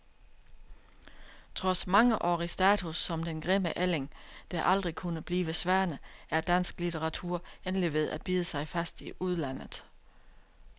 Trods mangeårig status som den grimme ælling, der aldrig kunne blive svane, er dansk litteratur endelig ved at bide sig fast i udlandet.